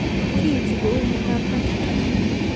Kiinti ko uu ne mnyandoap Huntington?